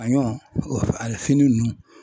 a ɲɔ ani fini nunnu.